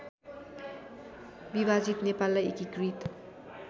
विभाजित नेपाललाई एकीकृत